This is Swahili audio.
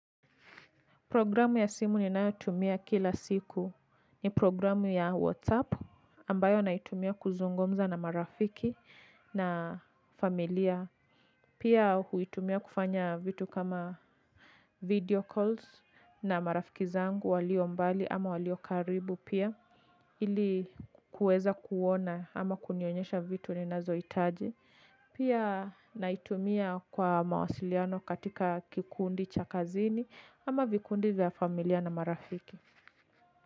Programu ya simu ninayotumia kila siku. Ni programu ya WhatsApp ambayo naitumia kuzungumza na marafiki na familia. Pia huitumia kufanya vitu kama video calls na marafiki zangu walio mbali ama walio karibu pia ili kuweza kuona ama kunionyesha vitu ninazohitaji. Pia naitumia kwa mawasiliano katika kikundi cha kazini ama vikundi vya familia na marafiki.